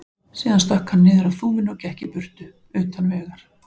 Síðan stökk hann niður af þúfunni og gekk í burtu, utan vegar.